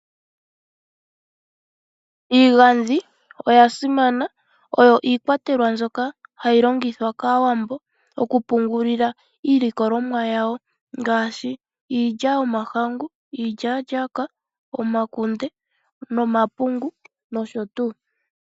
Iigandhi oya simana, oyo iikwatelwa ndjoka hayi longithwa kAawambo oku pungulila iilikolomwa yawo ngaashi iilya yomahangu, iilyalyaaka, omakunde nomapungu nosho tuu.